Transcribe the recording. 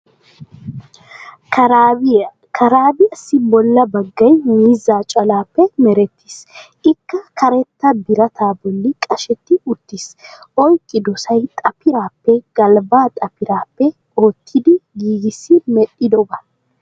Karaabiya, karaabiyaassi bolla baggay miizzaa calaappe merettiis. Ikka kartta birattaa bolli qashshetti uttiis. Oyqqiyodsay xappiraappe galbbaa xappiraappe oottidi giigissi medhdhidoba.